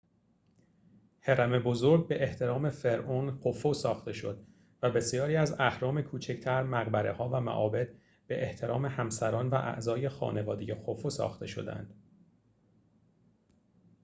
هرم بزرگ به احترام فرعون خوفو ساخته شد و بسیاری از اهرام کوچک‌تر مقبره‌ها و معابد به احترام همسران و اعضای خانواده خوفو ساخته شدند